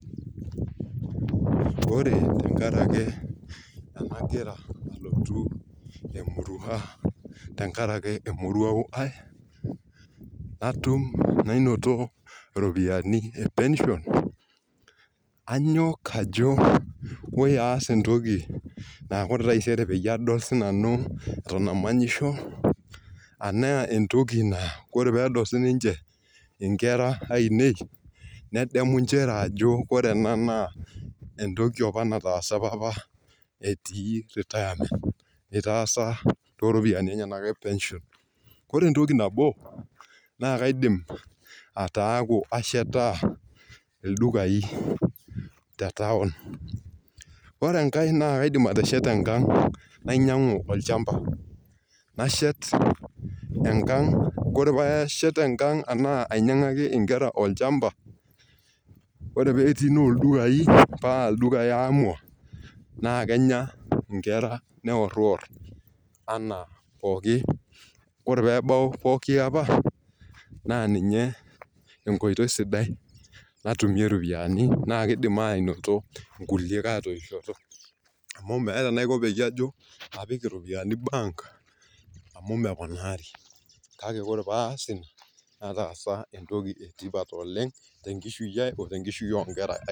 Ore tenkaraki ena gira nalotu emurua, tenkaraki, emurauo. naanoto iropiyiani.e pension anyok ajo oibapa aas entoki naa ore taisere peyie adol sii nanu. namanyisho. enaa entoki naa ore pee edol sii ninche, inkera ainei, nedamu nchere ajo ore ena. naa entoki apa naatsa papa etii retirement itaasa too ropiyiani enyenak. ore entoki nabo, naa kaidim ataaku ashetaa olduka te taon. ore e kae naa kaidim aatesheta enkang. nainyuiangu olchampa. nashet enkang. ore pee ashet enkang enaa ainyiangaki nkera olchampa. ore pee etii ildukai. paa ildukai aamua. naa Kenya nkera neprior, anaa, pooki ore pee ebau pooki apa. naa ninye, enkoitoi sidai natumie ropiyiani naa kidim aanoto nkulie atoisho. amu meeta enaiko pee apik iropiyiani ebenki amu meponari.